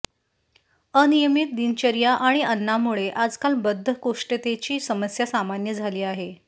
अनियमित दिनचर्या आणि अन्नामुळे आजकाल बद्धकोष्ठतेची समस्या सामान्य झाली आहे